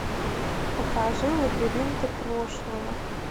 покажи лабиринты прошлого